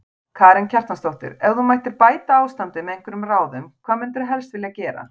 Karen Kjartansdóttir: Ef þú mættir bæta ástandið með einhverjum ráðum, hvað myndirðu helst vilja gera?